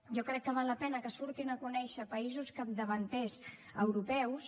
jo crec que val la pena que surtin a conèixer països capdavanters europeus